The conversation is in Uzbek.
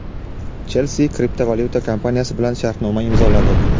"Chelsi" kriptovalyuta kompaniyasi bilan shartnoma imzoladi.